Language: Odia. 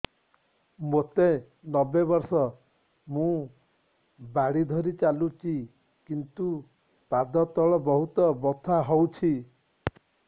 ମୋତେ ନବେ ବର୍ଷ ମୁ ବାଡ଼ି ଧରି ଚାଲୁଚି କିନ୍ତୁ ପାଦ ତଳ ବହୁତ ବଥା ହଉଛି